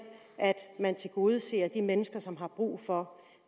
at man tilgodeser de mennesker som har brug for